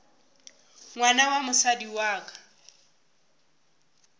ngwana wa mosadi wa ka